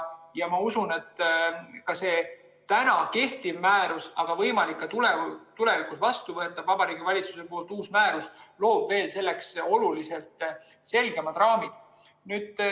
Ma usun, et see kehtiv määrus, aga ka võimalikult tulevikus vastu võetav Vabariigi Valitsuse uus määrus loob selleks veel oluliselt selgemad raamid.